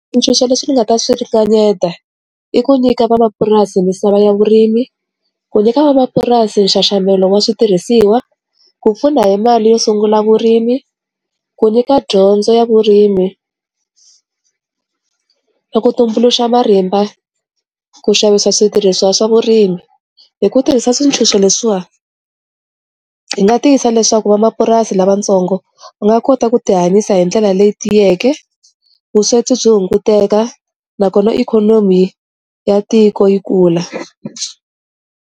Swintshuxo leswi ni nga ta swi ri kaneta i ku nyika vamapurasi misava ya vurimi, ku nyika vamapurasi nxaxamelo wa switirhisiwa, ku pfuna hi mali yo sungula vurimi, ku nyika dyondzo ya vurimi, ni ku tumbuluxa marimba, ku xavisa switirhiswa swa vurimi hi ku tirhisa swintshuxo leswiya hi nga tiyisa leswaku vamapurasi lavatsongo u nga kota ku ti hanyisa hi ndlela leyi tiyeke, vusweti byi hunguteka nakona ikhonomi ya tiko yi kula.